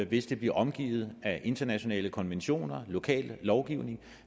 hvis det bliver omgivet af internationale konventioner lokal lovgivning